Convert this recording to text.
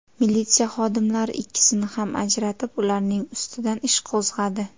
Militsiya xodimlari ikkisini ham ajratib, ularning ustidan ish qo‘zg‘adi.